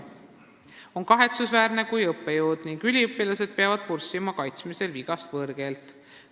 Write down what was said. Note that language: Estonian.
On kahetsusväärne, kui õppejõud ning üliõpilased peavad kaitsmisel võõrkeelt purssima.